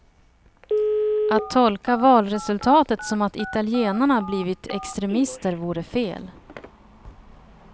Att tolka valresultatet som att italienarna blivit extremister vore fel.